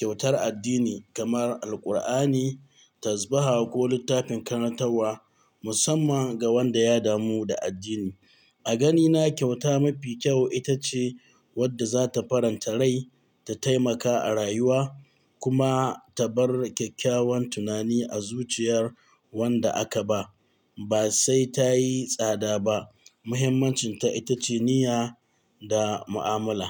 Kyautar addini kamar Alkur'ani, tazbahah ko littafin karantar musamman ga wanda ya damu da addini. A ganina kyauta mafi kyau ita ce wadda zata faranta rai ta taimaka a rayuwa kuma ta bar kyakkyawan tunani a zuciyar wanda aka ba. Ba sai ta yi tsada ba, muhimmancinta ita ce niyya da mu'amala.